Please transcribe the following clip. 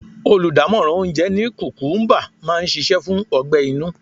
Oludamoran oúnjẹ ní kukumuba máa ń ṣíṣe fún ọgbẹ-inú.